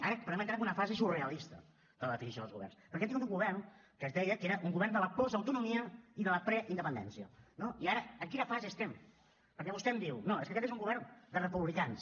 ara podem entrar en una fase surrealista de la definició dels governs perquè hem tingut un govern que es deia que era un govern de la postautonomia i la preindependència no i ara en quina fase estem perquè vostè em diu no és que aquest és un govern de republicans